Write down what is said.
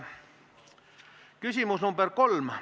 Küsimus nr 3.